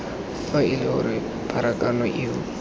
fa ele gore pharakano eo